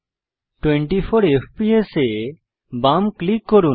24 FPS এ বাম click করুন